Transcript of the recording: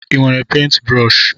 Ị nwere pentbrọshi?